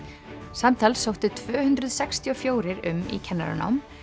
samtals sóttu tvöhundruð sextíu og fjórir um í kennaranám